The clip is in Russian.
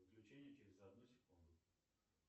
отключение через одну секунду